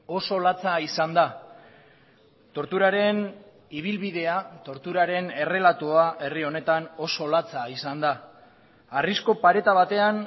oso latza izan da torturaren ibilbidea torturaren errelatoa herri honetan oso latza izan da harrizko pareta batean